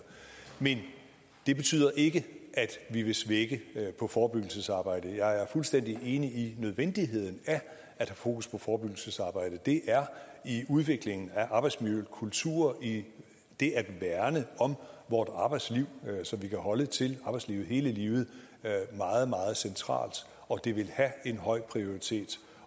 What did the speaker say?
men det betyder ikke at vi vil slække på forebyggelsesarbejdet jeg er fuldstændig enig i nødvendigheden af at have fokus på forebyggelsesarbejdet det er i udviklingen af arbejdsmiljø og kultur og i det at værne om vort arbejdsliv så vi kan holde til arbejdslivet hele livet meget meget centralt og det vil have en høj prioritet